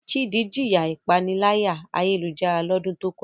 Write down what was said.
Chidi jiya ipanilaya-ayelujara lodun to koja